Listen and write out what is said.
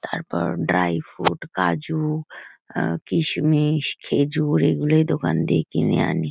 তারপর dry fruit কাজু আ কিশমিশ খেজুর এইগুলো এই দোকান দিয়ে কিনে আনি।